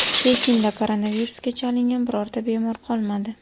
Pekinda koronavirusga chalingan birorta bemor qolmadi.